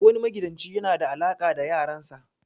Duk wani magidanci yana da alaka da yaran sa.